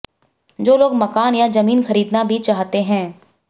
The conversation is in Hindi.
जो लोग मकान या जमीन खरीदना भी चाहते है